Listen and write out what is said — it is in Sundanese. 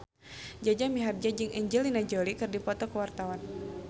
Jaja Mihardja jeung Angelina Jolie keur dipoto ku wartawan